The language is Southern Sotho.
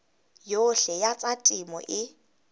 yohle ya tsa temo e